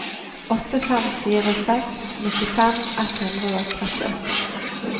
åtte fem fire seks nittifem ett hundre og trettiåtte